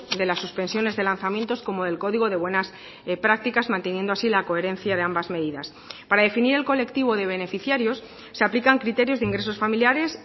de las suspensiones de lanzamientos como el código de buenas prácticas manteniendo así la coherencia de ambas medidas para definir el colectivo de beneficiarios se aplican criterios de ingresos familiares